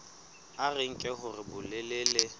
a re nke hore bolelele